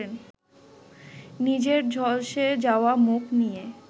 নিজের ঝলসে যাওয়া মুখ নিয়ে